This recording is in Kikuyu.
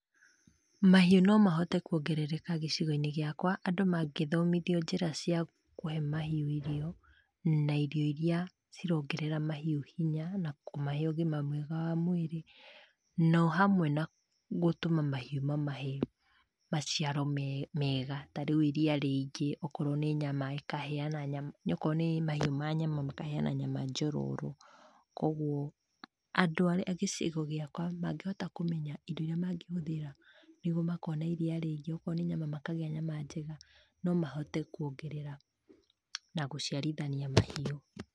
Mahiũ no mahote kuongerereka gĩcigo-inĩ giakwa andũ mangĩthomithio njĩra cia kũhe mahiũ irio, na irio iria, cirongerera mahiũ hinya, na kũmahe ũgima mwega wa mwĩrĩ, no hamwe na gũtũma mahiũ mamahe maciaro mega, tarĩu iria rĩingĩ, okorwo nĩ nyama, ĩkaheana nyama akorwo nĩ mahiũ ma nyama makaheana nyama njororo. Kuoguo, andũ a gĩcigo gĩakwa, mangĩhota kũmenya indo iria mangĩhũthĩra nĩguo makorwo na iria rĩingĩ akorwo nĩ nyama makagĩa nyama njega, no mahote kuongerera, na gũciarithania mahiũ.